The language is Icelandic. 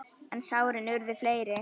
En sárin urðu fleiri.